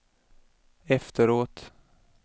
efteråt